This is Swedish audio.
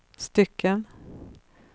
stycken